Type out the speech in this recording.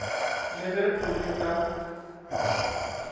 le ge o le ka